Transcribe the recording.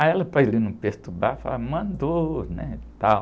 Aí, para ele não perturbar, falou, mandou, né, tal.